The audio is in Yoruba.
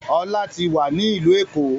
Ọlá tí wá ní ìlú Èkó.